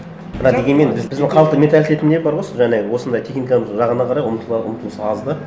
бірақ дегенмен біздің халықтың менталитетінде бар ғой сол жаңағы осындай техниканың жағына қарай ұмтылыс аз да